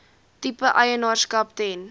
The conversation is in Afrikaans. tipe eienaarskap ten